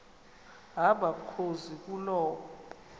hamba mkhozi kuloo